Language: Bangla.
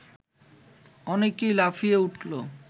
অনেকেই লাফিয়ে উঠল